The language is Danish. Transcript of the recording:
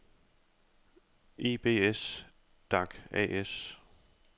Ibs-Dac A/S